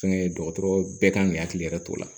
Fɛnkɛ dɔgɔtɔrɔ bɛɛ kan k'i hakili yɛrɛ t'o la